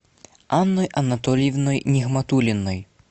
анной анатольевной нигматуллиной